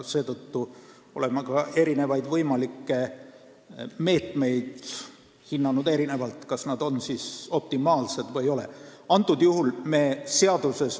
Seetõttu oleme ka võimalikke meetmeid hinnanud erinevalt, kas nad siis on või ei ole optimaalsed.